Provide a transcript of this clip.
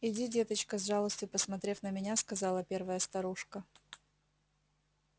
иди деточка с жалостью посмотрев на меня сказала первая старушка